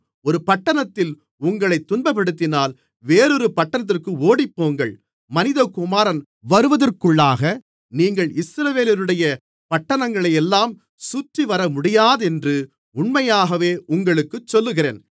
ஒரு பட்டணத்தில் உங்களைத் துன்பப்படுத்தினால் வேறொரு பட்டணத்திற்கு ஓடிப்போங்கள் மனிதகுமாரன் வருவதற்குள்ளாக நீங்கள் இஸ்ரவேலருடைய பட்டணங்களையெல்லாம் சுற்றிவரமுடியாதென்று உண்மையாகவே உங்களுக்குச் சொல்லுகிறேன்